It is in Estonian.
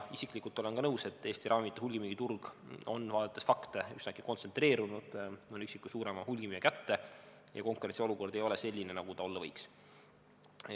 Isiklikult olen ka nõus, et Eesti ravimite hulgimüügiturg on, vaadates fakte, üsnagi kontsentreerunud mõne üksiku suurema hulgimüüja kätte ja konkurentsiolukord ei ole selline, nagu ta olla võiks.